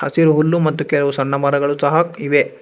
ಹಸಿರು ಹುಲ್ಲು ಮತ್ತು ಕೇಳ ಸಣ್ಣ ಮರಗಳು ಸಹ ಇದೆ.